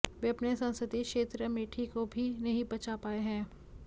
वे अपने संसदीय क्षेत्र अमेठी को भी नहीं बचा पाए हैं